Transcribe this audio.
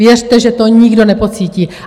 Věřte, že to nikdo nepocítí.